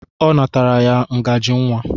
Ọ natara ya ngajị nwa.